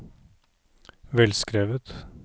velskrevet